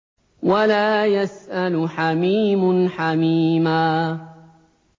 وَلَا يَسْأَلُ حَمِيمٌ حَمِيمًا